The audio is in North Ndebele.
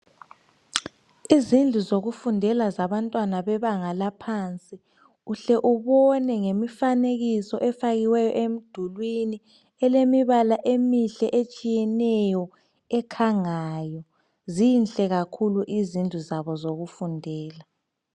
Izindlu zokufundela zabantwana bebanga laphansi uhle ubone ngemifanekiso efakiweyo emdulwini elemibala emihle etshiyeneyo ekhangayo zinhle kakhulu izindlu zabo zokufundela.